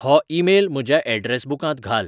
हो ईमेल म्हज्या ऍड्रॅस बुकांत घाल